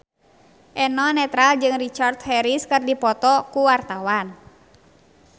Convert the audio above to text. Eno Netral jeung Richard Harris keur dipoto ku wartawan